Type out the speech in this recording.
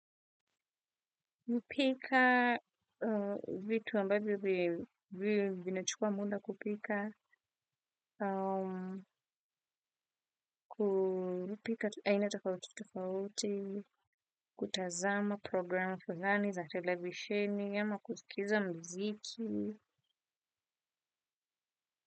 Mpika vitu ambavyo vimechukua muda kupika, kupika aina tofauti tofauti, kutazama programu kuzani za televisheni, ama kusikiza mziki.